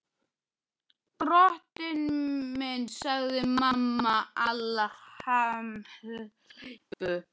Drottinn minn, sagði mamma Alla hamhleypu.